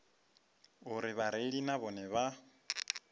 uri vhareili na vhone vha